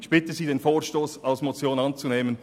Ich bitte Sie, den Vorstoss als Motion anzunehmen.